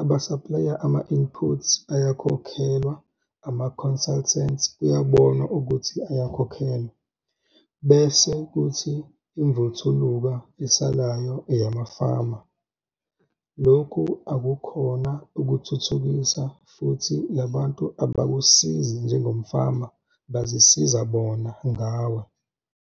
abasaplaya ama-input ayakhokhelwa, ama-consultant kuyabonwa ukuthi ayakhokhelwa - bese kuthi imvuthuluka esalayo eyamafama. Lokhu akukhona ukuthuthukisa futhi labantu abakusizi njengomfama - bazisiza bona ngawe.